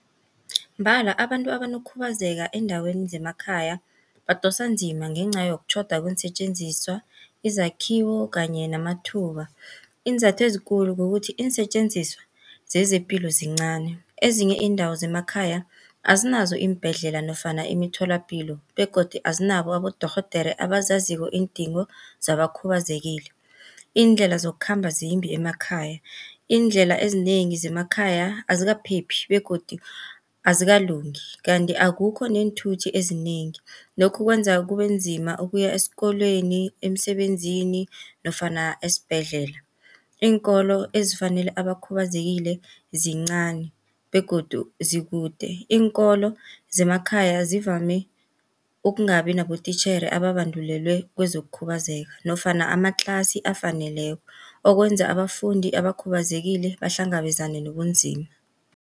Mbala abantu abanokukhubazeka eendaweni zemakhaya badosa nzima ngenca yokutjhoda kweensetjenziswa, izakhiwo kanye namathuba. Iinzathu ezikulu kukuthi iinsetjenziswa zezepilo zincani, ezinye iindawo zemakhaya azinazo iimbhedlela nofana imitholapilo begodu azinabo abodorhodere abazaziko iindingo zabakhubazekile. Iindlela zokukhamba zimbi emakhaya, iindlela ezinengi zemakhaya azikaphephi begodu azikalungi. Kanti akukho neenthuthi ezinengi, lokhu kwenza kube nzima ukuya esikolweni, emsebenzini nofana esibhedlela. Iinkolo ezifanele abakhubazekile zincani begodu zikude, iinkolo zemakhaya zivame ukungabi nabotitjhere ababandulelwe kezokukhubazeka nofana amatlasi afaneleko, okwenza abafundi abakhubazekile bahlangabezane nobunzima.